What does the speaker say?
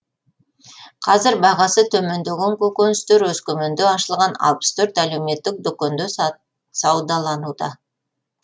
қазір бағасы төмендеген көкөністер өскеменде ашылған алпыс төрт әлеуметтік дүкенде саудалануда